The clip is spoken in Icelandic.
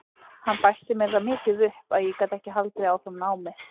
Hann bætti mér það mikið upp að ég gat ekki haldið áfram námi.